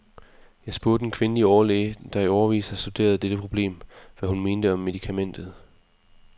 Jeg spurgte en kvindelig overlæge, der i årevis har studeret dette problem, hvad hun mente om medikamentet.